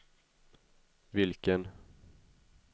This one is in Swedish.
vilken